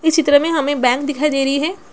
इस चित्र में हमे बैंक दिखाई दे रही है।